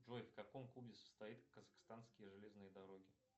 джой в каком клубе состоит казахстанские железные дороги